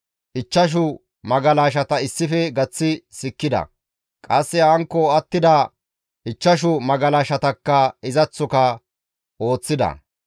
Ichchashu magalashata issife gaththi sikkida; qasse hankko attida ichchashu magalashatakka izaththoka ooththida.